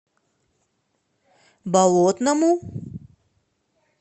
болотному